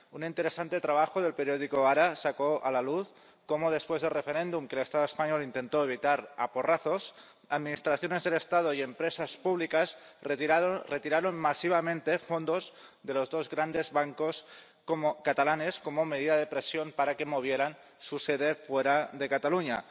Un interesante trabajo del periódico sacó a la luz cómo después del referéndum, que el Estado español intentó evitar a porrazos, administraciones del Estado y empresas públicas retiraron masivamente fondos de los dos grandes bancos catalanes como medida de presión para que movieran su sede fuera de Cataluña.